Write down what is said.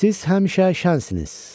Siz həmişə şənsiniz.